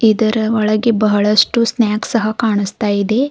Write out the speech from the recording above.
ಇದರ ಒಳಗೆ ಬಹಳಷ್ಟು ಸ್ನಾಕ್ಸ್ ಸಹ ಕಾಣಿಸ್ತಾ ಇದೆ.